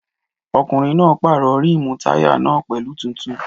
Ọkùnrin náà pàrọ̀ rímùù táyà náà pẹ̀lú tuntun